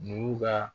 N'u ka